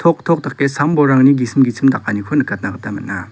tok dake sambolrangni gisim gisim dakaniko nikatna gita man·a.